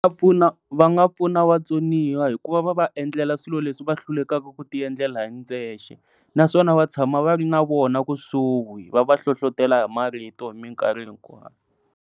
Pfuna va nga pfuna vatsoniwa hikuva va va endlela swilo leswi va hlulekaka ku ti endlela hindzexe naswona va tshama va ri na vona kusuhi va va hlohlotelo hi marito hi minkarhi hinkwawu.